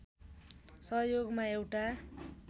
सहयोगमा एउटा